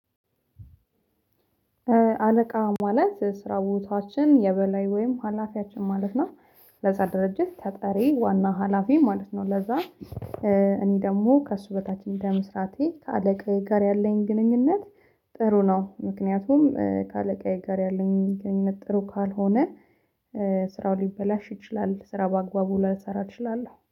አለቃ ማለት ስራ ቦታችን የበላይ ወይም ሀላፊያችን ማለት ነው ለዛ ድርጅት ተጠሪ ዋና ሀላፊ ማለት ነው። ለዛ እኔ ደሞ ከእሱ በታች እንደ መስራቴ ከአለቃዬ ጋር ያለኝ ግንኙነት ጥሩ ነው። ምክንያቱም ከአለቃዬ ጋር ያለኝ ግንኙነት ጥሩ ካልሆነ ስራው ሊበላሽ ይችላል። ስራ በአግባቡ ላልሰራ እችላለው